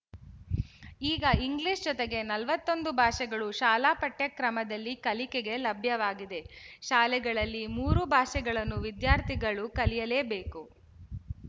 ಈಗ ಇಂಗ್ಲಿಶ ಜೊತೆಗೆ ನಲವತ್ತ್ ಒಂದು ಭಾಷೆಗಳು ಶಾಲಾಪಠ್ಯಕ್ರಮದಲ್ಲಿ ಕಲಿಕೆಗೆ ಲಭ್ಯವಾಗಿದೆ ಶಾಲೆಗಳಲ್ಲಿ ಮೂರು ಭಾಷೆಗಳನ್ನು ವಿದ್ಯಾರ್ಥಿಗಳು ಕಲಿಯಲೇ ಬೇಕು